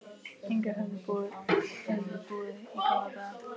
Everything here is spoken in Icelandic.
Inga höfðu búið í gamla daga.